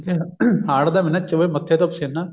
ਹਾੜ ਦਾ ਮਹੀਨਾ ਚੋਵੇ ਮੱਥੇ ਤੋਂ ਪਸੀਨਾ